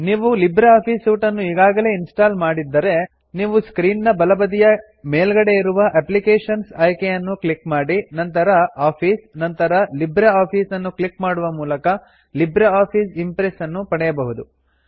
ನೀವು LibreOffice suite ನ್ನು ಈಗಾಗಲೇ ಇನ್ಸ್ಟಾಲ್ ಮಾಡಿದ್ದರೆ ನೀವು ಸ್ಕ್ರೀನ್ ನ ಎಡಬದಿಯ ಮೇಲ್ಗಡೆ ಇರುವ ಅಪ್ಲಿಕೇಶನ್ಸ್ ಆಯ್ಕೆಯನ್ನು ಕ್ಲಿಕ್ ಮಾಡಿ ನಂತರ ಆಫೀಸ್ ನಂತರ ಲಿಬ್ರಿಆಫಿಸ್ ನ್ನು ಕ್ಲಿಕ್ ಮಾಡುವ ಮೂಲಕ ಲಿಬ್ರೆ ಆಫೀಸ್ ಇಂಪ್ರೆಸ್ ನ್ನು ಪಡೆಯಬಹುದು